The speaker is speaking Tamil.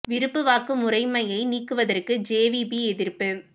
விருப்பு வாக்கு முறைமையை நீக்குவதற்கு ஜே வி பி எதிர்ப்பு